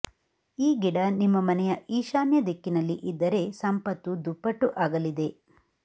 ಈ ಗಿಡ ನಿಮ್ಮ ಮನೆಯ ಈಶಾನ್ಯ ದಿಕ್ಕಿನಲ್ಲಿ ಇದ್ದರೆ ಸಂಪತ್ತು ದುಪ್ಪಟ್ಟು ಆಗಲಿದೆ